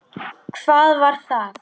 Hvað var það?